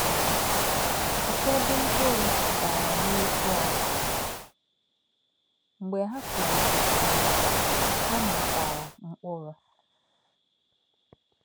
Ụ̀fọ́dị̀ mkpụrụ “dàrà n’ezi ala, mgbe ha púlìtèsịrị, ha mịkwara mkpụrụ.”